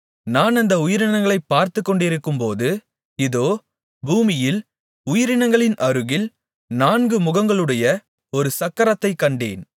நான் அந்த உயிரினங்களைப் பார்த்துக்கொண்டிருக்கும்போது இதோ பூமியில் உயிரினங்களின் அருகில் நான்கு முகங்களையுடைய ஒரு சக்கரத்தைக் கண்டேன்